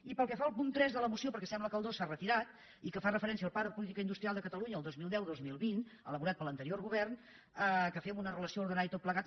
i pel que fa al punt tres de la moció perquè sembla que el dos s’ha retirat i que fa referència al pla de po·lítica industrial de catalunya dos mil deu·dos mil vint elaborat per l’anterior govern que fem una relació ordenada i tot plegat